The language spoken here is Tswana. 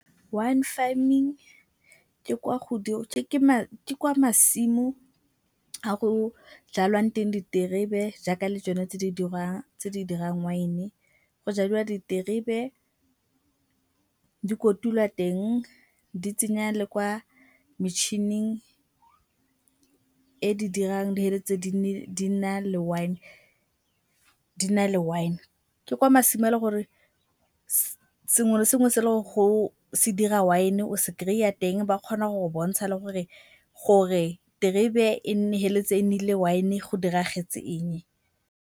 Wine farming ke kwa masimo a go jalwang teng diterebe jaaka le tsone tse di dirang wine. Go jadiwa diterebe, dikotulwa teng, di tsenya le kwa metšhining e di dirang di na le wine. Ke kwa masimo a le gore sengwe le sengwe se le gore se dira wine o se kry-a teng. Ba kgona go go bontsha le gore terebe e feleletse e nnile wine go diragetse eng.